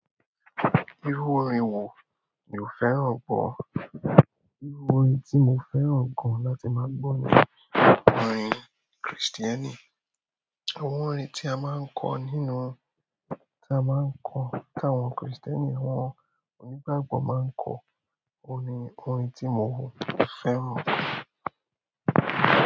Irú orin wo ni o fẹ́ràn pọ̀ jù? Irú orin tí mo fẹ́ràn gan láti máa gbọ́ ni orin Kristẹni. Àwọn orin tí a máa ń kó ni nu, tí a máa ń kọ, tí àwọn Kristẹni, àwọn onígbàgbọ̀ máa ń kọ, òun ni orin tí mo fẹ́ràn.